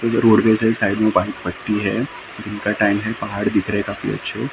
ये रोडवेज है साइड मे बारीक पट्टी है का टाइम है पहाड दिख रहे काफी अछे अ --